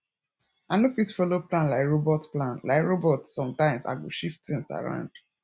i no fit follow plan like robot plan like robot sometimes i go shift things around